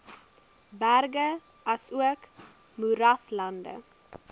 berge asook moeraslande